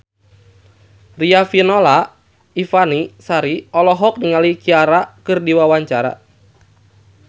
Riafinola Ifani Sari olohok ningali Ciara keur diwawancara